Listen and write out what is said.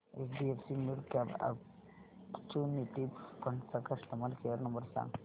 HDFC midcap opportunities fund चा customer care number सांग